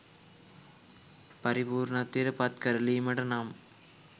පරිපූර්ණත්වයට පත් කරලීමට නම්